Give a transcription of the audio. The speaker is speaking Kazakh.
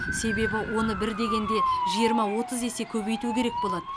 себебі оны бір дегенде жиырма отыз есе көбейту керек болады